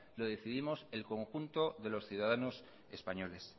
lo decidimos el conjunto de los ciudadanos españoles